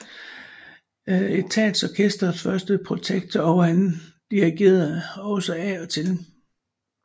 Etatsorkestrets første protektor og han dirigerede det også af og til